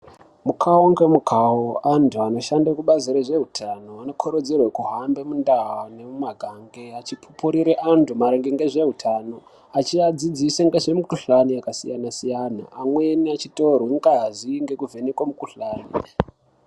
Mukhau ngemukhau antu anoshande kubazi rezveutano, anokurudzirwe kuhambe muntaa nemumagange achipupurire antu maringe ngezveutano, achiadzidzise ngezvimikhuhkani yakasiyana-siyana, amweni achitorwe ngazi ngekuvhenekwa mukhuhlani.